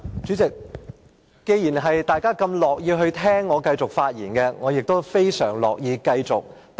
主席，既然大家這麼樂意繼續聽我發言，我亦非常樂意繼續發言。